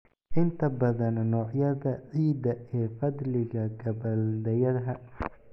Inta badan noocyada ciidda ee fadliga gabbaldayaha.